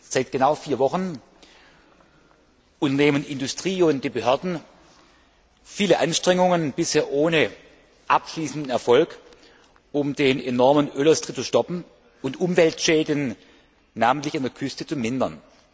Seit genau vier Wochen unternehmen Industrie und Behörden viele Anstrengungen bisher ohne abschließenden Erfolg um den enormen Ölaustritt zu stoppen und Umweltschäden insbesondere an der Küste zu mindern.